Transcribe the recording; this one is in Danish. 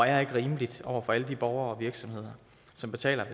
er ikke rimeligt over for alle de borgere og virksomheder som betaler